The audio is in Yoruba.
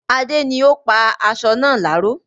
Adé ni ó pa aṣọ náà láró